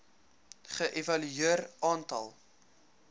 ge evalueer aantal